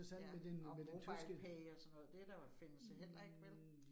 Ja, og MobilePay og sådan noget, det der findes heller ikke vel?